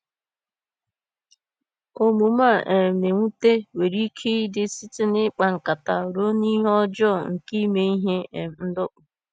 Omume a um na-ewute nwere ike ịdị site n’ihe ịkpa nkata ruo n’ihe ọjọọ nke ime ihe um ndọkpụ.